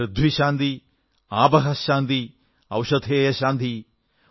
പൃഥ്വി ശാന്തിഃ ആപഃ ശാന്തിഃ ഔഷധയഃ ശാന്തിഃ